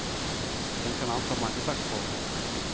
Den kan anta mange slags former.